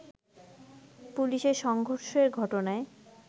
পুলিশের সংঘর্ষের ঘটনায়